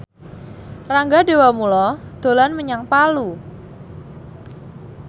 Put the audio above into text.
Rangga Dewamoela dolan menyang Palu